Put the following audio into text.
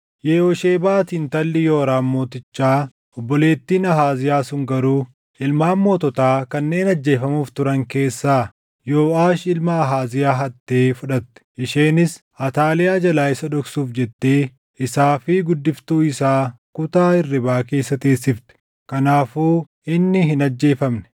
Yehooshebaati intalli Yooraam mootichaa obboleettiin Ahaaziyaa sun garuu ilmaan moototaa kanneen ajjeefamuuf turan keessaa Yooʼaash ilma Ahaaziyaa hattee fudhatte. Isheenis Ataaliyaa jalaa isa dhoksuuf jettee isaa fi guddiftuu isaa kutaa hirribaa keessa teessifte. Kanaafuu inni hin ajjeefamne.